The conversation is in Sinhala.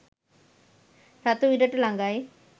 රතු ඉරට ලඟයි